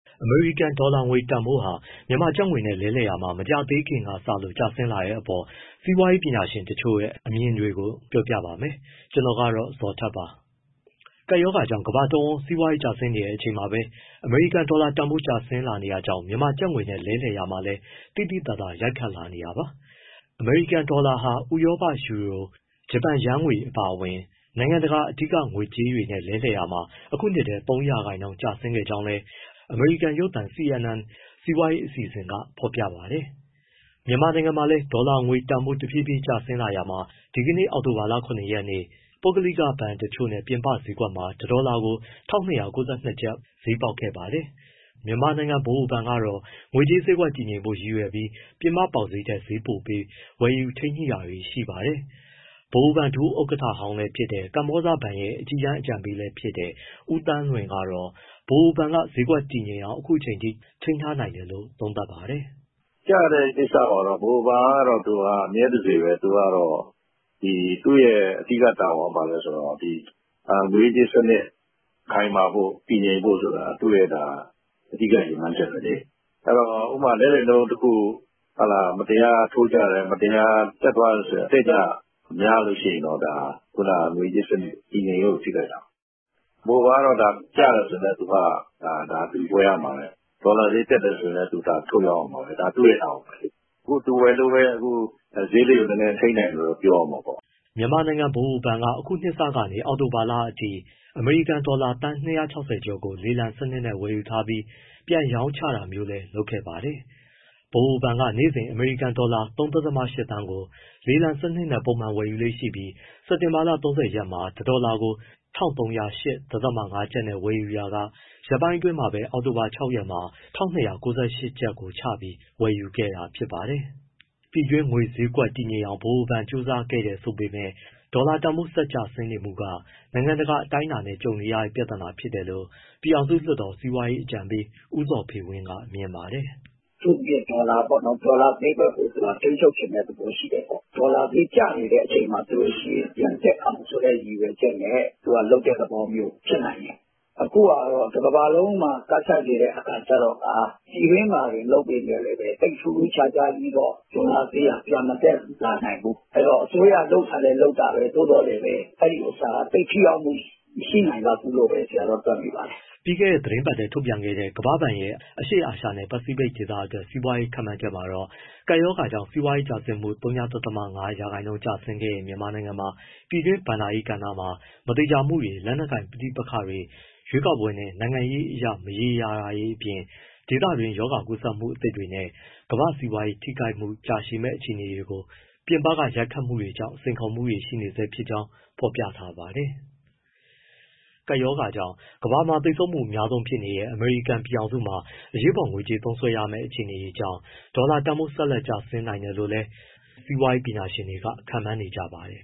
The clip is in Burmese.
အမေရိကန်ဒေါ်လာငွေ တန်ဖိုးဟာ မြန်မာကျပ်ငွေနဲ့ လဲလှယ်ရာမှာ မကြာသေးခင်ကစလို့ ကျဆင်းလာတဲ့အပေါ် စီးပွားရေး ပညာရှင်တချို့ရဲ့ အမြင်တွေကို ဗွီအိုအေမြန်မာပိုင်းသတင်းထောက် ကိုဇော်ထက်က ပြောပြပေးပါမယ်။ ကပ်ရောဂါကြောင့် ကမ္ဘာတဝန်း စီးပွားရေး ကျဆင်းနေချိန်မှာပဲ အမေရိကန်ဒေါ်လာတန်ဖိုး ကျဆင်းလာနေတာကြောင့် မြန်မာကျပ်ငွေနဲ့ လဲလှယ်ရာမှာလည်း သိသိသာသာ ရိုက်ခတ်လာနေတာပါ။ အမေရိကန်ဒေါ်လာဟာ ဥရောပယူရို၊ ဂျပန်ယန်းငွေ အပါအဝင် နိုင်ငံတကာက အဓိက ငွေကြေးတွေနဲ့ လဲလှယ်ရာမှာ ဒီနှစ်ထဲ ၃ ရာခိုင်နှုန်း ကျဆင်းခဲ့ကြောင်းလည်း အမေရိကန်ရုပ်သံ CNN စီးပွားရေးအစီအစဉ်က ဖော်ပြပါတယ်။ မြန်မာနိုင်ငံမှာလည်း ဒေါ်လာငွေတန်ဖိုး တဖြည်းဖြည်းကျဆင်းလာရာမှာ ဒီကနေ့ အောက်တိုဘာလ ၇ ရက်နေ့ ပုဂ္ဂလိက ဘဏ်တွေနဲ့ ပြင်ပဈေးကွက်မှာ တဒေါ်လာကို ၁,၂၉၂ ကျပ် ဈေးပေါက်ခဲ့ပါတယ်။ မြန်မာနိုင်ငံ ဗဟိုဘဏ်ကတော့ ငွေကြေးဈေးကွက် တည်ငြိမ်ဖို့ ရည်ရွယ်ချက်နဲ့ ပြင်ပပေါက်ဈေးထက် ဈေးပိုပေး ဝယ်ယူထိန်းညှိတာတွေ ရှိပါတယ်။ ဗဟိုဘဏ်ဒုဥက္ကဋ္ဌဟောင်းလည်းဖြစ် ကမ္ဘောဇဘဏ်ရဲ့ အကြီးတန်း အကြံပေးလည်းဖြစ်တဲ့ ဦးသန်းလွင်ကတော့ ဗဟိုဘဏ်က ဈေးကွက်တည်ငြိမ်အောင် အခုအချိန်အထိ ထိန်းထားနိုင်တယ်လို့ သုံးသပ်ပါတယ်။ "ကျတဲ့ကိစ္စမှာတော့ ဗဟိုဘဏ်က အမြဲတစေပဲ သူကတော့ သူ့ရဲ့အဓိက တာဝန်က ဘာလဲဆိုတော့ ငွေရေးကြေးရေးစနစ် ခိုင်မာဖို့၊ တည်ငြိမ်ဖို့ဆိုတာ သူ့ရဲ့ အဓိက ရည်မှန်းချက်ပဲလေ။ ဥပမာ လဲလှယ်နှုန်းတခု မတရားထိုးကျတယ်၊ မတရားတက်သွားတယ်ဆိုရင် အတက်အကျ များလို့ရှိရင်တော့ ဒါ ငွေရေးကြေးရေး တည်ငြိမ်ရေးကို ထိခိုက်တာပေါ့။ ဗဟိုဘဏ်ကတော့ ကျတယ်ဆိုရင် သူကဝယ်ရမှာပဲ။ ဒေါ်လာဈေးတက်တယ် ဆိုရင်လည်း သူကထုတ်ရောင်းရမှာပဲ။ ဒါသူ့ရဲ့ တာဝန်ပဲ။ အခုသူဝယ်လို့ပဲ ဈေးလေးတွေ နည်းနည်း ထိန်းနိုင်တယ် ပြောရမှာပေါ့။” မြန်မာနိုင်ငံဗဟိုဘဏ်က အခုနှစ်စကနေ အောက်တိုဘာလအထိ အမေရိကန်ဒေါ်လာ သန်း ၂၆၀ ကျော်ကို လေလံစနစ်နဲ့ ဝယ်ယူထားပြီး ပြန်ရောင်းချတာမျိုးလည်း လုပ်ခဲ့ပါတယ်။ ဗဟိုဘဏ်က နေ့စဉ် အမေရိကန်ဒေါ်လာ ၃.၈ သန်းကို လေလံစနစ်နဲ့ ပုံမှန်ဝယ်ယူလေ့ရှိပြီး စက်တင်ဘာ ၃၀ ရက်မှာ တဒေါ်လာကို ၁,၃၀၈.၅ ကျပ်နဲ့ ဝယ်ပြီးခဲ့ရာက ရက်ပိုင်းအတွင်းပဲ အောက်တိုဘာ ၆ ရက်မှာ ကျပ်ငွေ ၁,၂၉၈ ကျပ်ကိုချပြီး ဝယ်ယူခဲ့တာ ဖြစ်ပါတယ်။ ပြည်တွင်းငွေကြေးဈေးကွက်ကို တည်ငြိမ်အောင် ဗဟိုဘဏ်က ကြိုးပမ်းနေတယ်ဆိုပေမဲ့ ဒေါ်လာတန်ဖိုး ကျဆင်းမှုက နိုင်ငံတကာ အတိုင်းအတာနဲ့ ကြုံနေရတဲ့ ပြဿနာဖြစ်တယ်လို့ ပြည်ထောင်စုလွှတ်တော် စီးပွားရေးအကြံပေး ဦးဇော်ဖေဝင်း ကမြင်ပါတယ်။ “အထူးသဖြင့် ဒေါ်လာပေါ့နော်။ ဒေါ်လာဈေးကွက်ကို ထိန်းချုပ်ချင်တဲ့သဘော ရှိတယ်ပေါ့၊ ဒေါ်လာဈေး ကျနေတဲ့ အချိန်မှာဆိုရင် ပြန်တက်အောင်ဆိုတဲ့ ရည်ရွယ်ချက်နဲ့ လုပ်တဲ့သဘောမျိုး ဖြစ်နိုင်တယ်၊ အခုဟာက တကမ္ဘာလုံးမှာ ကပ်ဆိုက်နေတဲ့အခါ ကျတော့ကာ ပြည်တွင်းမှာတင် လုပ်ပေမဲ့လည်း ထူးထူးခြားခြားကြီးတော့ ဒေါ်လာဈေးက ပြန်မတက်လာနိုင်ဘူး၊ အဲဒီတော့ အစိုးရ လုပ်တာလည်း လုပ်တာပဲ သို့သော်သိပ်ထိရောက်မှု မရှိနိုင်လောက်ဘူးပဲ တွက်မိပါတယ်။” ပြီးခဲ့တဲ့ သီတင်းပတ်ထဲ ထုတ်ပြန်ခဲ့တဲ့ ကမ္ဘာ့ဘဏ်ရဲ့ အရှေ့အာရှနဲ့ ပစိဖိတ်ဒေသအတွက် စီးပွားရေး ခန့်မှန်းချက်မှာတော့ ကပ်ရောဂါကြောင့် စီးပွားရေးတိုးတက်မှု ဝ.၅ ရာခိုင်နှုန်းကျဆင်းခဲ့တဲ့ မြန်မာနိုင်ငံမှာ ပြည်တွင်းဘဏ္ဍာရေးကဏ္ဍမှာ မသေချာမှုတွေ၊ လက်နက်ကိုင် ပဋိပက္ခတွေ၊ ရွေးကောက်ပွဲနဲ့ နိုင်ငံရေးအရ မရေရာမှုတွေအပြင် ဒေသတွင်းရောဂါကူးစက်မှုသစ်တွေနဲ့ ကမ္ဘာ့စီးပွားရေးထိခိုက်မှု ကြာရှည်မယ့် အခြေအနေတွေလို ပြင်ပက ရိုက်ခတ်မှုတွေကြောင့် စိန်ခေါ်မှုတွေ ရှိနေဆဲဖြစ်ကြောင်း ဖော်ပြထားပါတယ်။ ကပ်ရောဂါကြောင့် ကမ္ဘာမှာသေဆုံးမှု အများဆုံးဖြစ်နေတဲ့ အမေရိကန် ပြည်ထောင်စုမှာ အရေးပေါ်ငွေကြေးသုံးစွဲရမယ့် အခြေအနေတွေကြောင့် ဒေါ်လာတန်ဖိုး ဆက်လက် ကျဆင်းနိုင်တယ်လို့လည်း စီးပွားရေးပညာရှင်တွေ ခန့်မှန်းနေကြပါတယ်